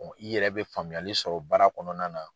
I yɛrɛ bɛ faamuyali sɔrɔ baara kɔnɔna na.